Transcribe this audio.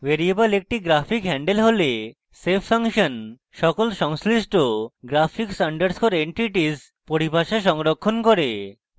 variable একটি graphic handle হলে save function সকল সংশ্লিষ্ট graphics _ entities পরিভাষা সংরক্ষণ করে